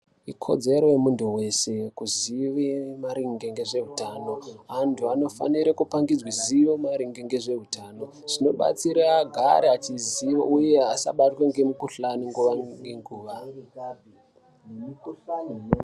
Ikodzero yemuntu weshe kuzive maringe ngezveutano. Antu anofanirwa kupangidzwa ziyo maringe ngezveutano zvinobatsira agari achiziya, uye asabatwa ngemukhuhlani nguwa ngenguwa.